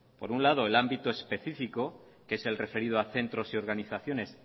por un lado el ámbito específico que es el referido a centros y organizaciones